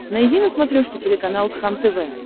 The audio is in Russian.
найди на смотрешке телеканал кхлм тв